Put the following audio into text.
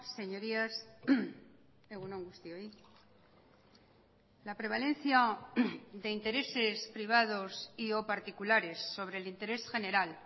señorías egun on guztioi la prevalencia de intereses privados y o particulares sobre el interés general